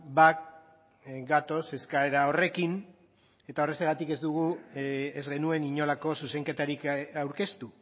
bat gatoz eskaera horrekin eta horrexegatik ez dugu ez genuen inolako zuzenketarik aurkeztu